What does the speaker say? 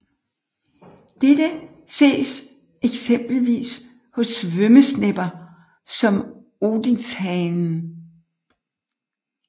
Dette ses eksempelvis hos svømmesnepper som odinshanen